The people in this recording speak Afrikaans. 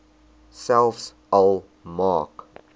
selfs al maak